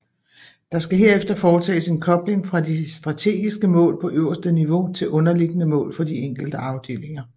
Der skal herefter foretages en kobling fra de strategiske mål på øverste niveau til underliggende mål for de enkelte afdelinger